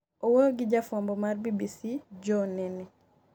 owuoyo gi jafwambo mar BBC Jonh Nene